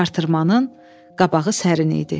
Artırmanın qabağı sərin idi.